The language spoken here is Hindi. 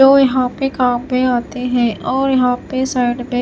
जो यहां पे काम में आते है और यहां पे साइड में --